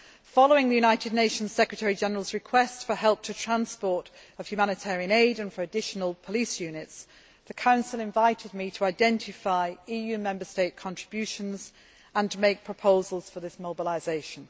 Following the UN Secretary General's request for help with transport of humanitarian aid and for additional police units, the Council invited me to identify EU Member State contributions and make proposals for this mobilisation.